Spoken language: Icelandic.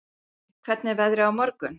Addi, hvernig er veðrið á morgun?